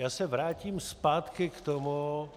Já se vrátím zpátky k tomu -